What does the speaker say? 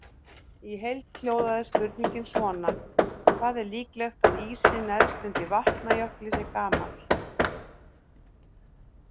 Í heild hljóðaði spurningin svona: Hvað er líklegt að ísinn neðst undir Vatnajökli sé gamall?